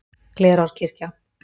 Glerárkirkja